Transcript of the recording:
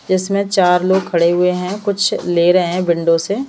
जिसमें चार लोग खड़े हुए हैं कुछ ले रहे हैं विंडो से--